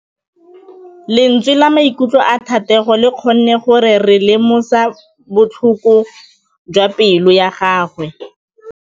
Lentswe la maikutlo a Thategô le kgonne gore re lemosa botlhoko jwa pelô ya gagwe.